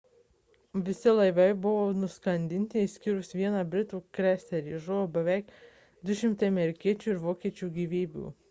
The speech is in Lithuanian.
visi laivai buvo nuskandinti išskyrus vieną britų kreiserį žuvo beveik 200 amerikiečių ir vokiečių gyvybių